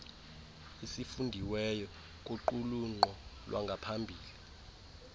esifundiweyo kuqulunqo lwangaphambili